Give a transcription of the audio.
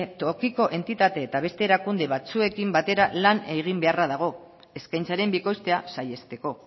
tokiko entitate eta beste erakunde batzuekin batera lan egin beharra dago eskaintzaren bikoiztea saihesteko